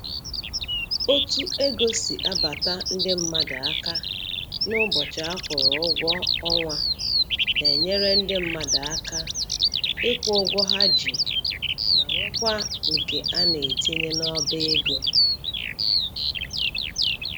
Otu ego si abata ndị mmadụ aka n'ụbọchị a kwụrụ ụgwọ ọnwa na-enyere ndị mmadụ aka ịkwụ ụgwọ ha ji ma nwekwa nke a na-etinye n'ọba ego